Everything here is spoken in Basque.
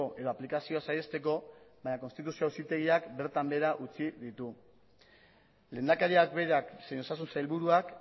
edo aplikazioa saihesteko baina konstituzio auzitegiak bertan behera utzi ditu lehendakariak berak zein osasun sailburuak